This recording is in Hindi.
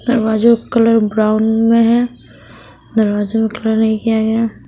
दरवाजो का कलर ब्राउन में है दरवाजो का कलर नहीं किया गया--